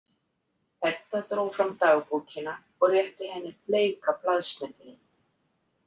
Edda dró fram dagbókina og rétti henni bleika blaðsnepilinn.